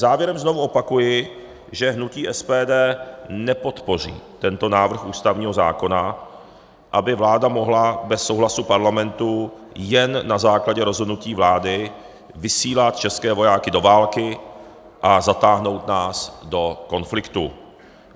Závěrem znovu opakuji, že hnutí SPD nepodpoří tento návrh ústavního zákona, aby vláda mohla bez souhlasu Parlamentu jen na základě rozhodnutí vlády vysílat české vojáky do války a zatáhnout nás do konfliktů.